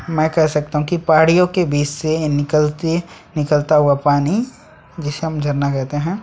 मैं कह सकता हूं की पहाड़ियों के बीच से निकलती निकलता हुआ पानी जिसे हम जानना कहते हैं।